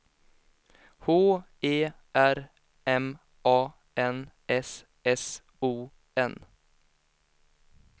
H E R M A N S S O N